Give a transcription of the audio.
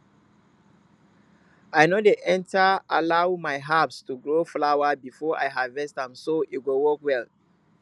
i no dey ever allow my herbs to grow flower before i harvest am so e go work well